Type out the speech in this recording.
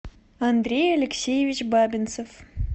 андрей алексеевич бабинцев